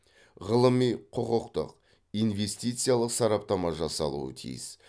ғылыми құқықтық инвестициялық сараптама жасалуы тиіс